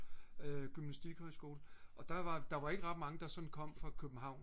gymnastikhøjskole og der var der var ikke ret mange der sådan kom fra københavn